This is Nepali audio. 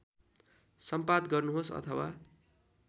सम्पाद गर्नुहोस् अथवा